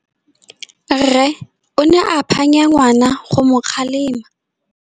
Rre o ne a phanya ngwana go mo galemela.